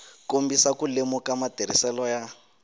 kombisa ku lemuka matirhiselo ya